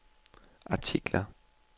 artikler